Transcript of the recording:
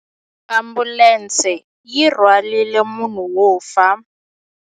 Ambulense yi rhwarile munhu wo fa.